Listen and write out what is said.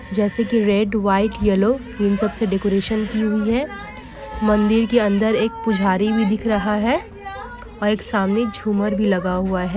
जेसे के red white yellow इन सबसे डेकोरशान की हूइ हे। मंदिर की एक के नीचे पुजारी वी दिख रहा है और एक सामने झूमर भी लगा हुआ है।